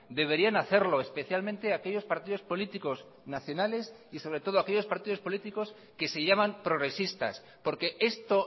deberían hacerlo especialmente aquellos partidos políticos nacionales y sobre todo aquellos partidos políticos que se llaman progresistas porque esto